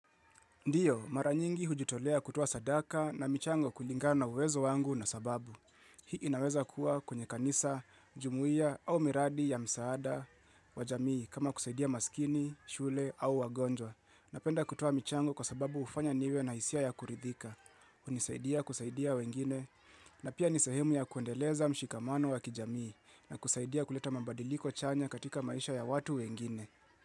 Ndiyo, mara nyingi hujitolea kutowa sadaka na michango kulingana uwezo wangu na sababu. Hii inaweza kuwa kwenye kanisa, jumuia au miradi ya msaada wa jamii kama kusaidia maskini, shule au wagonjwa. Napenda kutowa michango kwa sababu hufanya niwe na isia ya kuridhika. Hunisaidia kusaidia wengine na pia nisehemu ya kuendeleza mshikamano wa kijamii na kusaidia kuleta mabadiliko chanya katika maisha ya watu wengine.